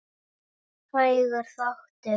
Hægur þáttur